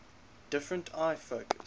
different eye focus